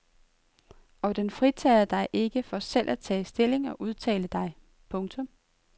Og den fritager dig ikke for selv at tage stilling og udtale dig. punktum